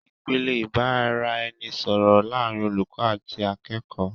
Ìpele ìbàraeni sòrò láàrin olùkó àti akékòó